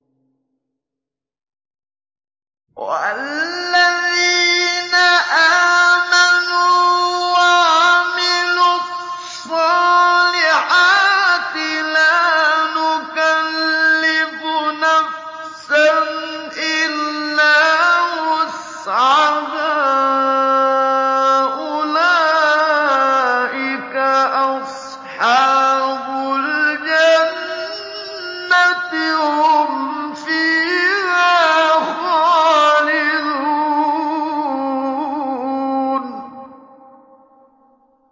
وَالَّذِينَ آمَنُوا وَعَمِلُوا الصَّالِحَاتِ لَا نُكَلِّفُ نَفْسًا إِلَّا وُسْعَهَا أُولَٰئِكَ أَصْحَابُ الْجَنَّةِ ۖ هُمْ فِيهَا خَالِدُونَ